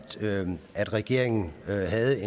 sådan at regeringen havde